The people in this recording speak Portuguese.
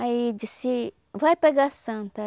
Aí disse, vai pegar a santa.